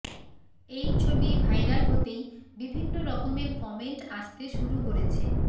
এই ছবি ভাইরাল হতেই বিভিন্ন রকমের কমেন্ট আসতে শুরু করেছে